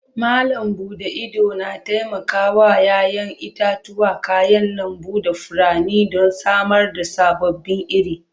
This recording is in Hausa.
Malam bude idona taimakawa 'ya'yan itatuwa, kayan lambu da furanni don samar da sababbin iri.